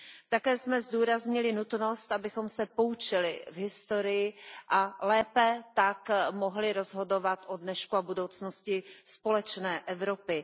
Také jsme zdůraznili nutnost, abychom se poučili z historie, a lépe tak mohli rozhodovat o dnešku a budoucnosti společné Evropy.